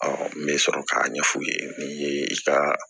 n bɛ sɔrɔ k'a ɲɛ f'u ye ni ye i ka